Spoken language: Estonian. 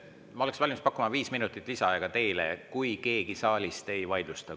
Ma oleks valmis pakkuma teile viis minutit lisaaega, kui keegi saalist ei vaidlusta.